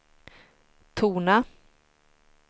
tona